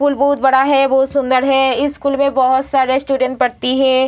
School बहुत बड़ा है बहुत सुंदर है इस स्कूल में बहुत सारे स्टूडेंट पढ़ते हैं।